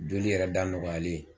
Joli yɛrɛ da nɔgɔyalen